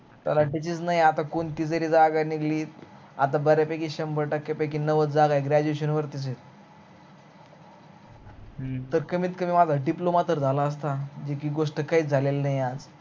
तालाठ्याचीच नाही आता कोणती जरी जागा निघाली आता बर्या पैकी शंबर टक्क्या पैकी नव्वद जागा graduation वरतीच आहेत तर कमीत कमी माझा diploma तर झाला असता जी गोष्ट काहीच झाली नाही आज